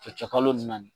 Cɛ kalo ni naani